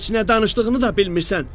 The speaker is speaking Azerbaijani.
“Heç nə danışdığını da bilmirsən.